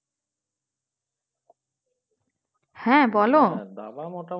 হ্যাঁ বলো